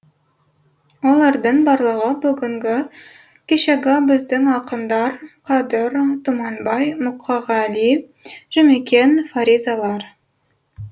олардың барлығы бүгінгі кешегі біздің ақындар қадыр тұманбай мұқағали жұмекен фаризалар